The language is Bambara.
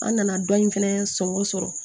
An nana dɔ in fɛnɛ sɔngɔ sɔrɔ